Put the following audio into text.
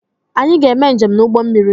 Anyị ga-eme njem n'ụgbọ mmiri.